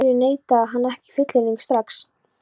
Af hverju neitaði hann ekki fullyrðingunni strax?